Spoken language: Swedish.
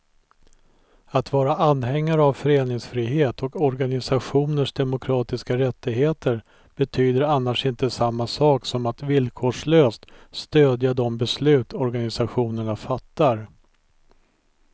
Att vara anhängare av föreningsfrihet och organisationers demokratiska rättigheter betyder annars inte samma sak som att villkorslöst stödja de beslut organisationerna fattar.